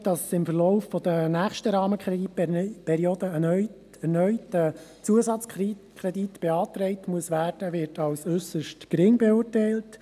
Die Wahrscheinlichkeit, dass im Verlauf der nächsten Rahmenkreditperiode erneut ein Zusatzkredit beantragt werden muss, wird als äusserst gering beurteilt.